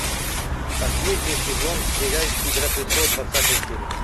последний сезон сериальчик игра престолов двадцатая серия